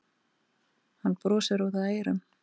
Hann brosir út að eyrum.